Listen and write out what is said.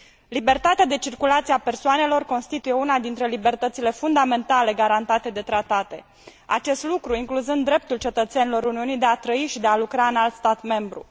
Libertatea de circulație a persoanelor constituie una dintre libertățile fundamentale garantate de tratate, acest lucru incluzând dreptul cetățenilor Uniunii de a trăi și de a lucra în alt stat membru.